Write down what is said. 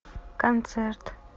концерт